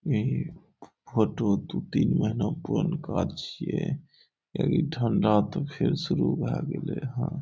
ई photo दू तीन का छे। ई ठंडा त फिर शुरू भै गेले हां।